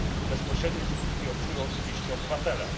Bezpośrednie skutki odczują oczywiście obywatele.